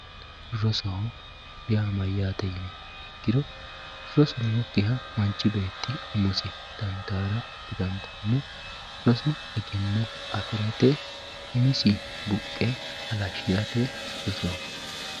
Roso yaa mayate yini ikkiro rosu nookiha manchu beetti umosi dandayaa di, dandano. Rosu eggeno afirate umisi buqee halashirate roso